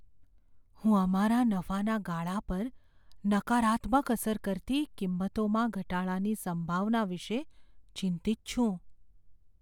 હું અમારા નફાના ગાળા પર નકારાત્મક અસર કરતી કિંમતોમાં ઘટાડાની સંભાવના વિશે ચિંતિત છું.